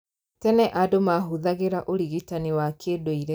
Tene andũ mahũthagĩra ũrigitani wa kĩndũire